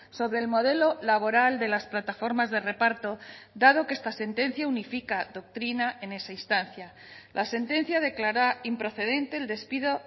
sobre el modelo laboral de las plataformas de reparto dado que esta sentencia unifica doctrina en esa instancia la sentencia declara improcedente el despido